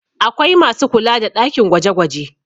Akwai masu kula da ɗakin gwaje -gwaje